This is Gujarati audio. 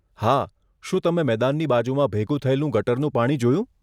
હા, શું તમે મેદાનની બાજુમાં ભેગું થયેલું ગટરનું પાણી જોયું?